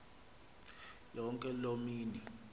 yonke loo mini